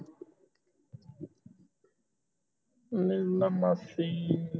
ਨਿਰਣਾ ਮਾਸੀ